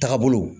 Taga bolo